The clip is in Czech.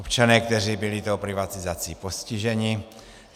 Občané, kteří byli tou privatizací postiženi.